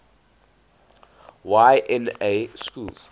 y na schools